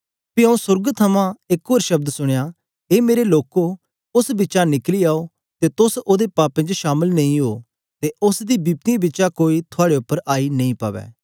पी आऊँ सोर्ग थमां एक ते शब्द सुनया ए मेरे लोको उस्स बिचा निकली आओ के तोस ओदे पापें च शामल नेई उओ ते उस्स दी बिपतियें बिचा कोई थआड़े उपर आई नेई पवै